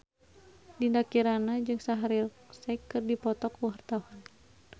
Dinda Kirana jeung Shaheer Sheikh keur dipoto ku wartawan